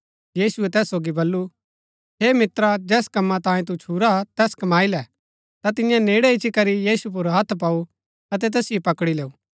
यीशुऐ तैस सोगी बल्लू हे मित्रा जैस कम्मा तांयें तु छुरा हा तैस कमाई लै ता तियें नेड़ै इच्ची करी यीशु पुर हत्थ पाऊ अतै तैसिओ पकड़ी लैऊ